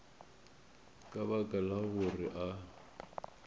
ka baka la gore a